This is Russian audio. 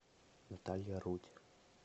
наталья рудь